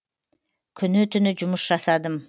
күні түні жұмыс жасадым